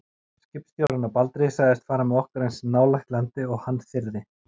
Skipstjórinn á Baldri sagðist fara með okkur eins nálægt landi og hann þyrði.